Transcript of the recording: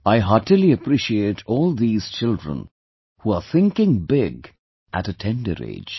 I heartily appreciate all these children who are thinking big at a tender age